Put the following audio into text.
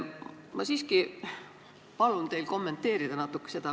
Ma siiski palun teil natuke seda kommenteerida.